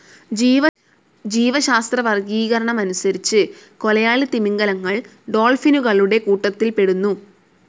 ജീവശാസ്ത്രവർഗീകരണമനുസരിച്ച് കൊലയാളി തിമിംഗിലങ്ങൾ ഡോൾഫിനുകളുടെ കൂട്ടത്തിൽപ്പെടുന്നു.